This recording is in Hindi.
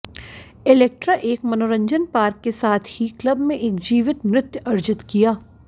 इलेक्ट्रा एक मनोरंजन पार्क के साथ ही क्लब में एक जीवित नृत्य अर्जित किया